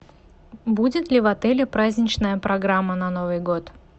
будет ли в отеле праздничная программа на новый год